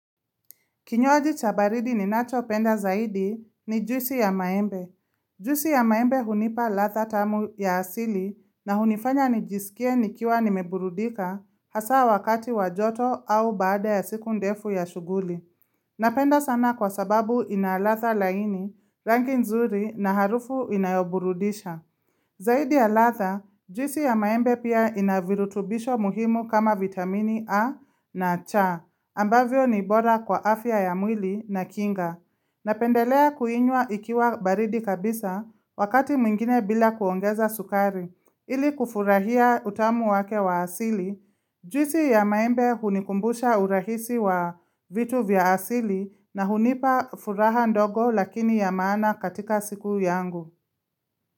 Kinywaji cha baridi ninachopenda zaidi ni juisi ya maembe. Juisi ya maembe hunipa ladha tamu ya asili na hunifanya nijiskie nikiwa nimeburudika hasa wakati wa joto au baada ya siku ndefu ya shughuli. Napenda sana kwa sababu ina ladha laini, rangi nzuri na harufu inayoburudisha. Zaidi ya ladha, juisi ya maembe pia ina virutubisho muhimu kama vitamini A na C, ambavyo ni bora kwa afya ya mwili na kinga. Napendelea kuinywa ikiwa baridi kabisa wakati mwingine bila kuongeza sukari ili kufurahia utamu wake wa asili. Juisi ya maembe hunikumbusha urahisi wa vitu vya asili na hunipa furaha ndogo lakini ya maana katika siku yangu.